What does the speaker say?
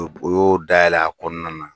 dayɛlɛ a kɔnɔna na.